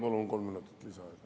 Palun kolme minutit lisaaega.